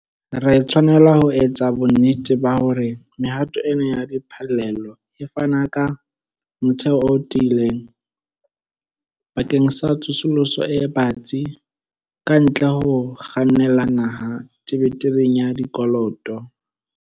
Re tshwanela ho etsa bonnete ba hore mehato ena ya diphallelo e fana ka motheo o tiileng bakeng sa tsosoloso e batsi kantle ho ho kgannela naha tebetebeng ya dikoloto.